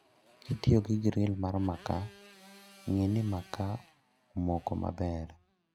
Kitiyogi gril mar makaa, ng'ii ni makaa omoko maber